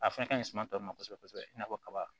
A fɛn ka ɲi suma tɔ ma kosɛbɛ kosɛbɛ i n'a fɔ kaba